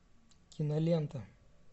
кинолента